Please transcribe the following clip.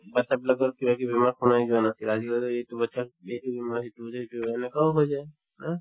batcha বিলাকৰ কিবাকিবি বেমাৰ শুনাই যোৱা নাছিল আজিকালি এইটো batches ৰ এইটো বেমাৰ সেইটোও যে সেইটোও হয় সেনেকুৱাও হৈ যায় হয় নে